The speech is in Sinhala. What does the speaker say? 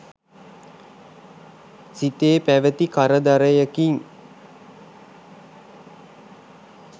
සිතේ පැවති කරදරයකින්